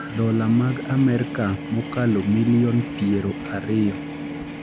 dola mag Amerka mokalo milion piero ariyo